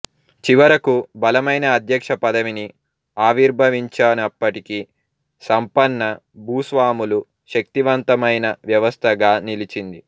చివరకు బలమైన అధ్యక్ష పదవిని ఆవిర్భవించినప్పటికీ సంపన్న భూస్వాములు శక్తివంతవంతమైన వ్యవస్థగా నిలిచింది